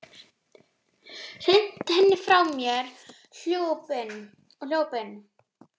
Hrinti henni frá mér og hljóp inn.